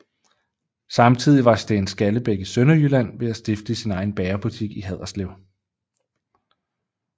Samtidig var Steen Skallebæk i Sønderjylland ved at stifte sin egen bagerbutik i Haderslev